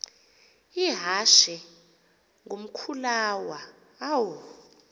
ihashe ngumkhulawa uam